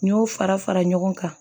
N y'o fara fara ɲɔgɔn kan